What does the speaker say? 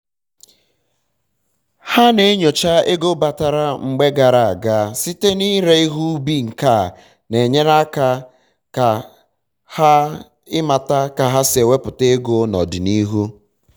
ha na-enyocha ego batara mgbe gara aga site n'ire ihe ubi nkea n'enyere ha aka ịmata ka ha si ewepu ego n'ọdịniru